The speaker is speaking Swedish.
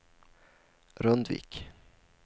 Rundvik